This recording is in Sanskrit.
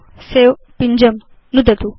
सवे पिञ्जं नुदतु